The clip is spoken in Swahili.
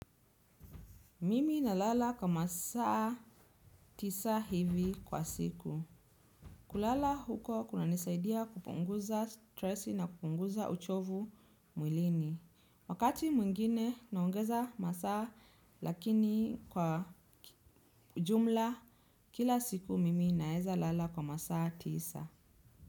Mimi naala kwa masaa tisa hivi kwa siku. Kulala huko kuna nisaidia kupunguza stress na kupunguza uchovu mwilini. Wakati mwingine naongeza masaa lakini kwa jumla, kila siku mimi naeza lala kwa masaa tisa.